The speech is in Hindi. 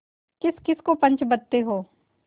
किसकिस को पंच बदते हो